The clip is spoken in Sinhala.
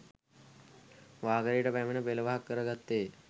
වාකරේට පැමිණ පෙළවහක් කරගත්තේය.